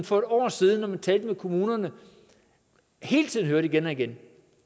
for et år siden når vi talte med kommunerne hele tiden hørte om igen og igen